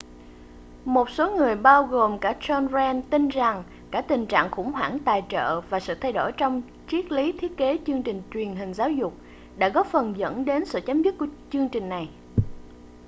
một số người bao gồm cả john grant tin rằng cả tình trạng khủng hoảng tài trợ và sự thay đổi trong triết lý thiết kế chương trình truyền hình giáo dục đã góp phần dẫn đến sự chấm dứt của chương trình này